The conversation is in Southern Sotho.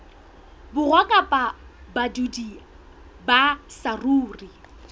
borwa kapa badudi ba saruri